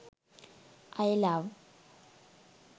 i love